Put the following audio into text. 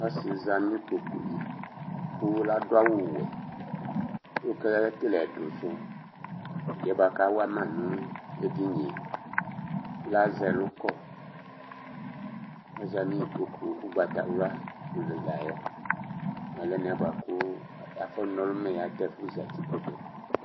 Ɔsi za nu ikpoku li ku ladu awu wɛ kɔkele ɛdusu buakawama nu edinie Lazɛ ɛlu kɔ ɔza nu ikpoku ugbatawla li layɛ muanɛnɛ afɔnɔlu mɛ yatɛ ɛfuza layɛ